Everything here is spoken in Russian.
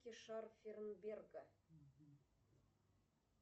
шарфенберга